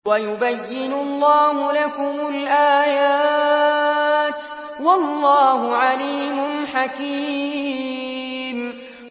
وَيُبَيِّنُ اللَّهُ لَكُمُ الْآيَاتِ ۚ وَاللَّهُ عَلِيمٌ حَكِيمٌ